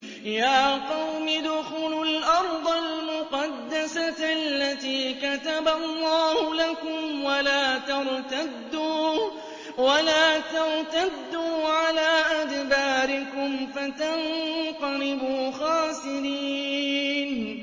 يَا قَوْمِ ادْخُلُوا الْأَرْضَ الْمُقَدَّسَةَ الَّتِي كَتَبَ اللَّهُ لَكُمْ وَلَا تَرْتَدُّوا عَلَىٰ أَدْبَارِكُمْ فَتَنقَلِبُوا خَاسِرِينَ